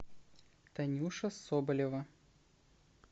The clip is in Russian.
танюша соболева